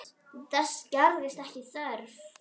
Þess gerðist ekki þörf.